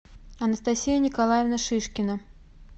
анастасия николаевна шишкина